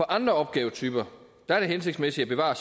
andre opgavetyper er det hensigtsmæssigt at bevare